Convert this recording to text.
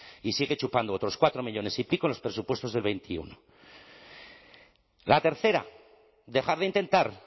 y sigue chupando otros cuatro millónes y pico en los presupuestos de dos mil veintiuno la tercera dejar de intentar